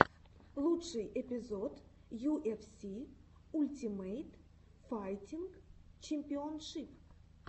лучший эпизод ю эф си ультимейт файтинг чемпионшип